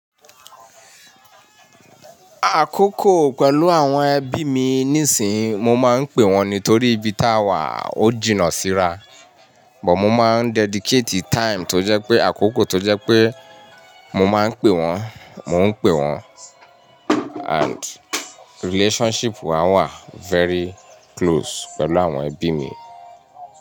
Àkókò pẹ̀lú àwọn ẹbí mi níìsín, mo máa ń pe wọ́n nítorí ibi táa wà ó jìnnà síra. Bọ̀ mo máa ń dedicate time tó jẹ́ pé àkókò tó jẹ́ pé mo máa ń pe wọ́n, mo ń pe wọ́n. And relationship wa wà very close pẹ̀lú àwọn ẹbí mi.